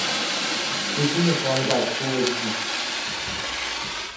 включи мне клондайк фул эйч ди